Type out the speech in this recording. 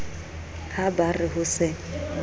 ha ba re ho se